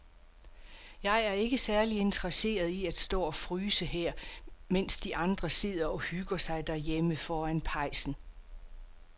Jeg er ikke særlig interesseret i at stå og fryse her, mens de andre sidder og hygger sig derhjemme foran pejsen.